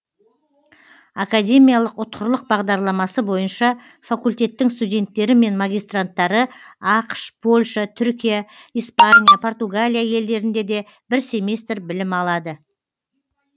академиялық ұтқырлық бағдарламасы бойынша факультеттің студенттері мен магистранттары ақш польша түркия испания португалия елдерінде бір семестр білім алады